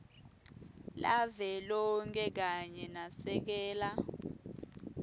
lavelonkhe kanye nasekela